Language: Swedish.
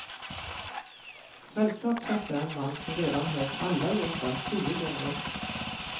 Självklart träffar jag en man som redan hört alla låtar tio gånger.